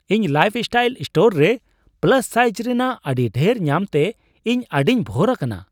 ᱤᱧ Lifestyle store ᱨᱮ plus size ᱨᱮᱱᱟᱜ ᱟᱹᱰᱤ ᱰᱷᱮᱨ ᱧᱟᱢᱛᱮ ᱤᱧ ᱟᱹᱰᱤᱧ ᱵᱷᱳᱨ ᱟᱠᱟᱱᱟ ᱾